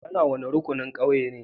Ka na wani rukunin ƙauyen ne?